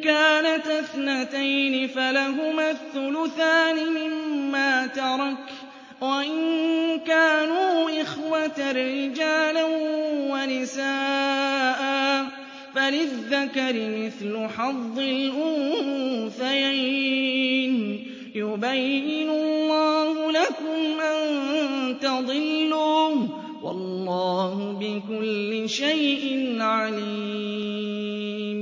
كَانَتَا اثْنَتَيْنِ فَلَهُمَا الثُّلُثَانِ مِمَّا تَرَكَ ۚ وَإِن كَانُوا إِخْوَةً رِّجَالًا وَنِسَاءً فَلِلذَّكَرِ مِثْلُ حَظِّ الْأُنثَيَيْنِ ۗ يُبَيِّنُ اللَّهُ لَكُمْ أَن تَضِلُّوا ۗ وَاللَّهُ بِكُلِّ شَيْءٍ عَلِيمٌ